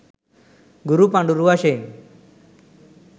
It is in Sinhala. ගුරු පඬුරු වශයෙන්